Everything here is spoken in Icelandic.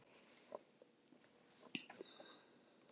Nóg var til af öllu.